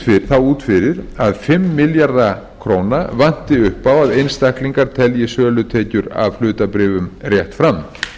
lítur því út fyrir að fimm milljarða króna vanti upp á að einstaklingar telji sölutekjur af hlutabréfum rétt fram